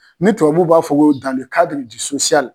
Ni tubabuw b'a fɔ ko